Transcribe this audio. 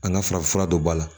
An ka farafin fura dɔ b'a la